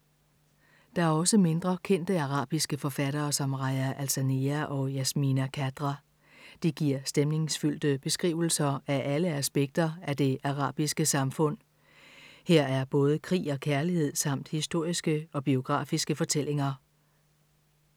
Der er også mindre kendte arabiske forfattere som Rajaa Alsanea og Yasmina Khadra. De giver stemningsfyldte beskrivelser af alle aspekter af det arabiske samfund. Her er både krig og kærlighed samt historiske og biografiske fortællinger.